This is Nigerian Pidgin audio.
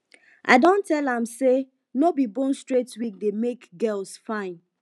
i don tell am sey no be bone straight wig dey make girls fine